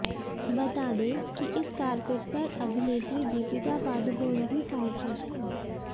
बता दें कि इस कार्पेट पर अभिनेत्री दीपिका पादुकोण भी पहुंची थीं